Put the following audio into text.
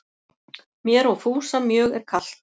Mér og Fúsa mjög er kalt